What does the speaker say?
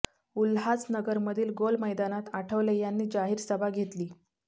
उल्हासनगरमधील गोल मैदानात आठवले यांनी जाहिर सभा घेतली